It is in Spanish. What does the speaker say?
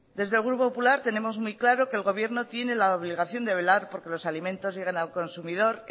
desde el grupo popular tenemos muy claro que el gobierno tiene la obligación de velar por que los alimentos lleguen al consumidor